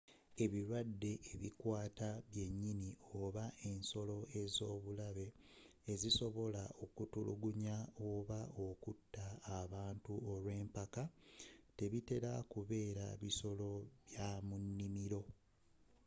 ebirwadde ebikwata byenyini, oba ensolo ez’obulabe ezisobola okutulugunya oba okutta abantu olwempaka tebitera kubeera bisolo bya mu nimiro